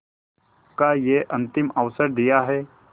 का यह अंतिम अवसर दिया है